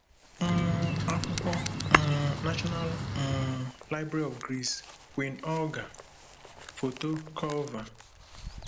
um akwụkwọ: um National um Library of Greece; Queen Olga: Foto Culver